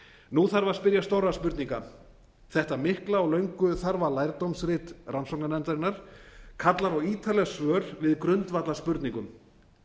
nú þarf að spyrja stórra spurninga þetta mikla og löngu þarfa lærdómsrit rannsóknarnefndarinnar kallar á ítarleg svör við grundvallarspurningum